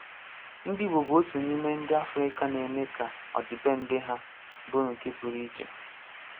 Ndi Igbo bụ otu n'ime ndị Afrịka na-eme ka ọdịbendị ha bụrụ nke pụrụ iche.